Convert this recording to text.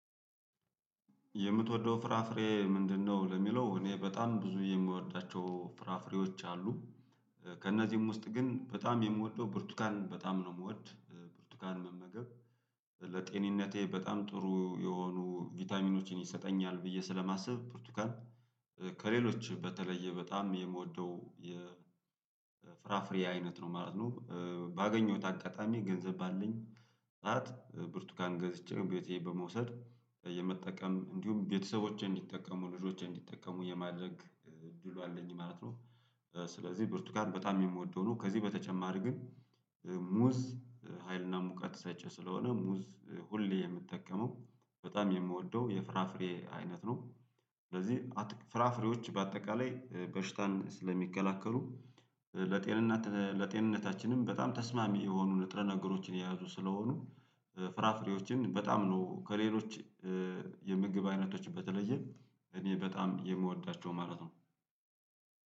የምትወደው ፍራፍሬ ምንድነው ለሚለው እኔ በጣም ብዙ የምወዳቸው ፍራፍሬዎች አሉ፤ ከእነዚህም ውስጥ ግን በጣም የምወደው ብርቱካን በጣም ነው የምወድ ብርቱካን መመገብ ለጤንነቴ በጣም ጥሩ የሆኑ ቫይታሚኖችን ይሰጠኛል ብዬ ስለማስብ ብርቱካን ከሌሎች በተለየ በጣም የምወደው የፍራፍሬ አይነት ነው ማለት ነው፤ ባገኘሁት አጋጣሚ ገንዘብ ባለኝ ሰዓት ብርቱካን ገዝቼ ቤቴ በመውሰድ የመጠቀም እንዲሁም ቤተሰቦቼ እንዲጠቀሙ ልጆቼ እንዲጠቀሙ የማድረግ እድሉ አለኝ ማለት ነው፤ ስለዚህ ብርቱካን በጣም የምወደው ነው ከዚህ በተጨማሪ ግን ሙዝ ሀይልና ሙቀት ሰጨ ስለሆነ ሙዝ ሁሌ የምትጠቀመው በጣም የምወደው የፍራፍሬ አይነት ነው፤ ስለዚህ ፍራፍሬዎች በአጠቃላይ በሽታን ስለሚከላከሉ ለጤንነታችንም በጣም ተስማሚ የሆኑ ንጥረ ነገሮችን የያዙ ስለሆኑ ፍራፍሬዎችን በጣም ነው ከሌሎች የምግብ አይነቶች በተለየ እኔ በጣም የምወዳቸው ማለት ነው።